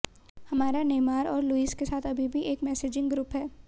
हमारा नेमार और लुइस के साथ अभी भी एक मैसेजिंग ग्रुप है